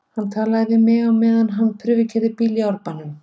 Hann talar við mig á meðan hann prufukeyrir bíla í Árbænum.